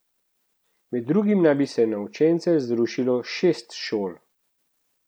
Med drugim naj bi se na učence zrušilo šest šol.